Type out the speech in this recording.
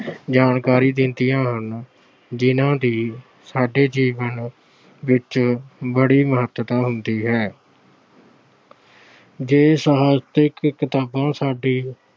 ਜਾਣਕਾਰੀ ਦਿੰਦੀਆਂ ਹਨ ਜਿਹਨਾਂ ਦੀ ਸਾਡੇ ਜੀਵਨ ਵਿੱਚ ਬੜੀ ਮਹਤਤਾ ਹੁੰਦੀ ਹੈ। ਜੇ ਸਾਹਿਤਕ ਕਿਤਾਬਾਂ ਸਾਡੇ